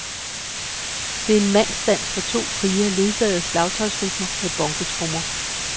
Det er en mandsdans for to krigere, ledsaget af slagtøjsrytmer med bongotrommer.